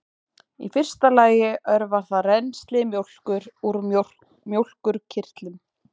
í fyrsta lagi örvar það rennsli mjólkur úr mjólkurkirtlum